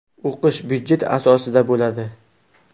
O‘qish budjet asosida bo‘ladi.